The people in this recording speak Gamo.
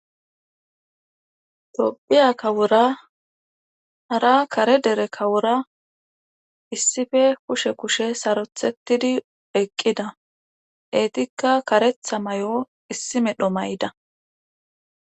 Tophphiya kawora hara kare dere kawora issippe kushe kushe saroththetidi eqqida eetikka kareththa may'o issi medhdho maydda